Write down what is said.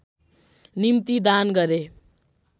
निम्ति दान गरे